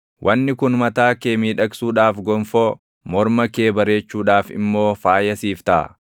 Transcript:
Wanni kun mataa kee miidhagsuudhaaf gonfoo, morma kee bareechuudhaaf immoo faaya siif taʼa.